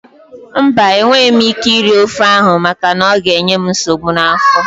Mba, enweghị m ike iri ofe ahụ maka na ọ ga-enye m nsogbu n'afọ